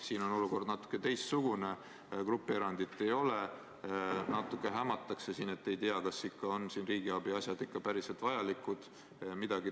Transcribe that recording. Siin on olukord natukene teistsugune, grupierandit ei ole ja natuke hämatakse: ei tea, kas siin ikka on riigiabi asjad päriselt vajalikud.